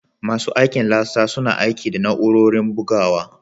Masu aikin latsa suna aiki da na'urorin bugawa